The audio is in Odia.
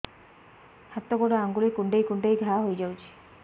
ହାତ ଗୋଡ଼ ଆଂଗୁଳି କୁଂଡେଇ କୁଂଡେଇ ଘାଆ ହୋଇଯାଉଛି